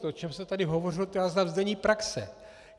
To, o čem se tady hovořilo, to já znám z denní praxe.